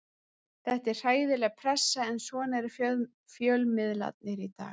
Þetta er hræðileg pressa en svona eru fjölmiðlarnir í dag.